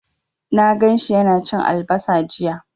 Na gan shi yana cin albasa jiya.